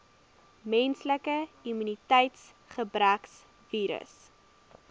menslike immuniteitsgebrekvirus